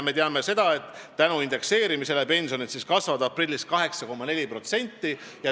Me teame, et tänu indekseerimisele pensionid kasvavad aprillis 8,4%.